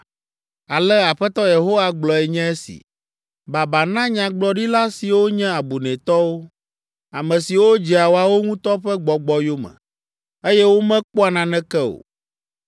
Ale Aƒetɔ Yehowa gblɔe nye si. Baba na nyagblɔɖila siwo nye abunɛtɔwo, ame siwo dzea woawo ŋutɔ ƒe gbɔgbɔ yome, eye womekpɔa naneke o!